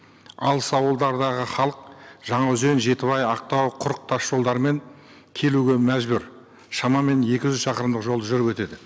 алыс ауылдардағы халық жаңаөзен жетібай ақтау құрық тас жолдарымен келуге мәжбүр шамамен екі жүз шақырымдық жол жүріп өтеді